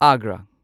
Agra